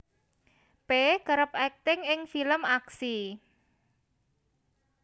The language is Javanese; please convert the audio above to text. P kerep akting ing film aksi